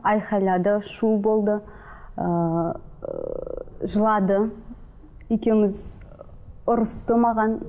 айқайлады шу болды ыыы жылады екеуіміз ұрысты маған